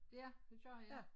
Ja det gør jeg